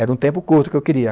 Era um tempo curto que eu queria.